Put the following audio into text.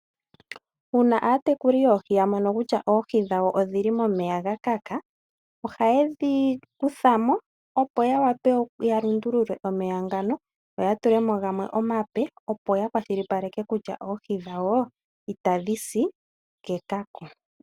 Uuna aatekuli yoohi ya mono kutya oohi dhawo odhili momeya gakaka, oha yedhi kuthamo opo ya wape ya lundulule omeya ngano yo oya tule mo gamwe omape opo ya kwashilipaleke kutya oohi dhawo itadhi si kekako.